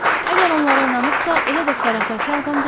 Əgər onlara inanıbsa, elə də fərasətli adam deyil.